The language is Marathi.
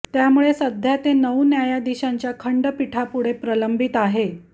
त्यामुळे सध्या ते नऊ न्यायाधीशांच्या खंडपीठापुढे प्रलंबित आहे